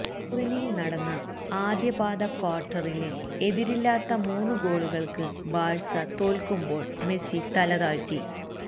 ടൂറിനില് നടന്ന ആദ്യ പാദ ക്വാര്ട്ടറില് എതിരില്ലാത്ത മൂന്ന് ഗോളുകള്ക്ക് ബാഴ്സ തോല്ക്കുമ്പോള് മെസ്സി തലതാഴ്ത്തി